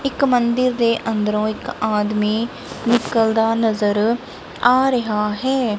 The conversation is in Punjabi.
ਇੱਕ ਮੰਦਿਰ ਦੇ ਅੰਦਰੋਂ ਇੱਕ ਆਦਮੀ ਨਿਕਲਦਾ ਨਜ਼ਰ ਆ ਰਿਹਾ ਹੈ।